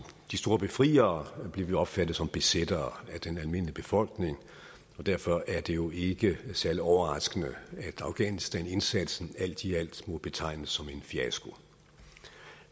de store befriere blev vi opfattet som besættere af den almindelige befolkning og derfor er det jo ikke særlig overraskende at afghanistanindsatsen alt i alt må betegnes som en fiasko